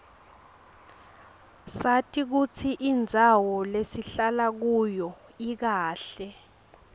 sati kutsi indzawo lesihlala kuyo ikahle